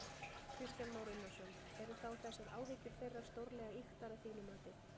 Kristján Már Unnarsson: Eru þá þessar áhyggjur þeirra stórlega ýktar að þínu mati?